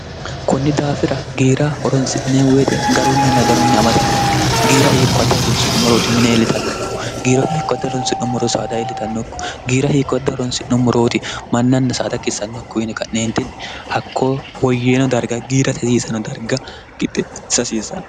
kunni daafira giira horonsi'nee weixe garunni nadanunni amada noonke giira hiikko wadd horonsi'nummorooti mine eelitannokko giiro hiikko add horonsi'nommoro saada ielitannokku giira hiikko add horonsi'nommorooti mannanna saada kiissannokko yine ka'neentinni hakko woyyeeno darga giira sasiisano darga gixxe sasiisanno